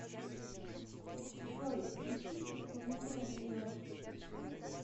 джой включи исполнителя леос